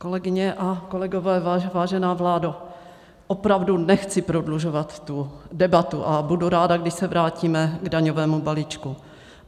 Kolegyně a kolegové, vážená vládo, opravdu nechci prodlužovat tu debatu a budu ráda, když se vrátíme k daňovému balíčku.